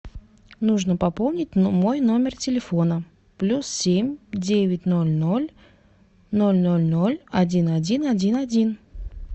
нужно пополнить мой номер телефона плюс семь девять ноль ноль ноль ноль ноль один один один один